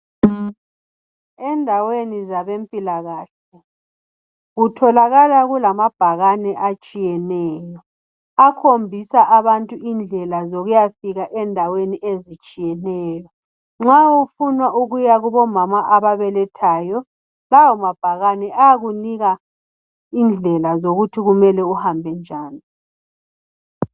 Endaweni zabempilakahle kutholakala kulamabhakane atshiyeneyo akhombisa abantu indlela zokuyafika endaweni ezitshiyeneyo nxa ufuna ukuya kobo mama ababelethayo lawa mabhakane ayakunika indlela zokuthi kumele uhambe njani.